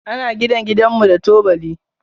Ana gina gidanmu da tubali.